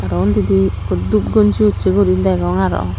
arow undidi ikko dup gonji usse gurine degong arow.